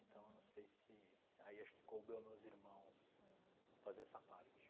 Então, eu não sei se... Aí acho que coube aos meus irmãos fazer essa parte.